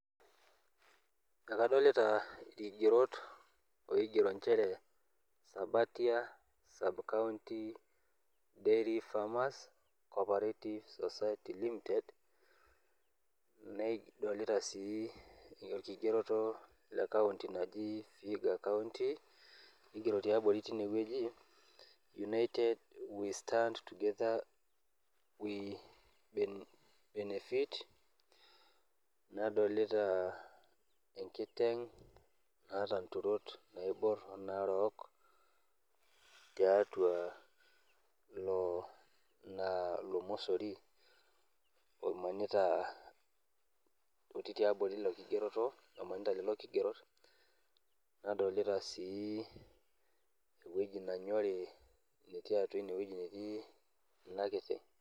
Ekadolita irkigerot oigero nchere sabatia sub-county dairy farmers copperative society limited nadolita sii orkigereto lee vihiga county nigero tiabori tineweji ,united we stand together we benefit nadolotia enkiteng naaatu nturot naibor onaarok tiatua ina ilo mosori otii tiabori ilo kigereto omanita lelo kigerot nadolita sii eweji nenyoti natii atua ineweji netii ina kiteng.